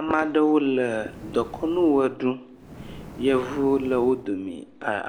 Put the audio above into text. Ame aɖewo le dekɔnu woeɖum yevuwo le wodome